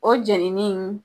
O jɛnini